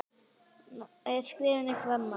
Hún er skeifu framan á.